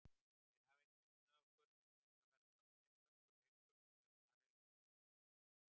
Þeir hafa ekki unnið okkur en þetta verður án efa hörkuleikur, sagði Marel við Fótbolta.net.